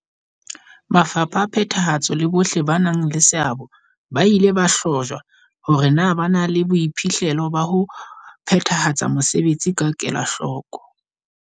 Mafapha a phethahatso le bohle ba nang le seabo ba ile ba hlahlojwa hore na ba na le boiphihlelo ba ho phethahatsa mesebetsi ka kelahloko.